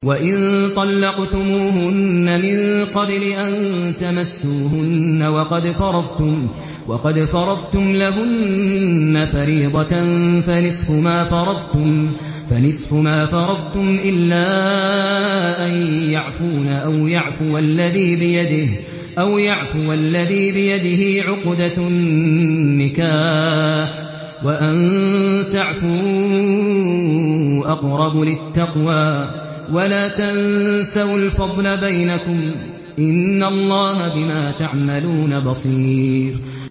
وَإِن طَلَّقْتُمُوهُنَّ مِن قَبْلِ أَن تَمَسُّوهُنَّ وَقَدْ فَرَضْتُمْ لَهُنَّ فَرِيضَةً فَنِصْفُ مَا فَرَضْتُمْ إِلَّا أَن يَعْفُونَ أَوْ يَعْفُوَ الَّذِي بِيَدِهِ عُقْدَةُ النِّكَاحِ ۚ وَأَن تَعْفُوا أَقْرَبُ لِلتَّقْوَىٰ ۚ وَلَا تَنسَوُا الْفَضْلَ بَيْنَكُمْ ۚ إِنَّ اللَّهَ بِمَا تَعْمَلُونَ بَصِيرٌ